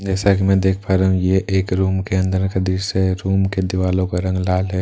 जैसा की मैं देख पा रहा हू ये एक रूम के अंदर का दृश्य है रूम की दीवालों का रंग लाल है।